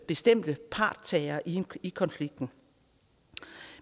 bestemte parthavere i i konflikten